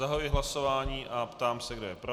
Zahajuji hlasování a ptám se, kdo je pro.